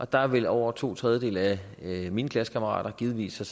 der ville over to tredjedele af mine klassekammerater givetvis